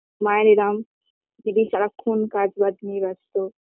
মায়ের এরম দিদি সারাক্ষণ কাজ বাজ নিয়ে ব্যস্ত